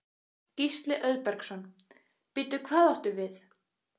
Gísli Auðbergsson: Bíddu, hvað áttu við?